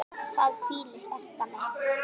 Þar hvílir hjarta mitt.